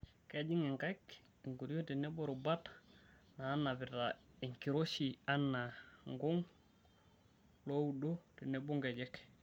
Kejing' nkaik, enkoriong' tenebo rubat naanapita enkiroshi anaa nkung',looudo tenebo nkejek.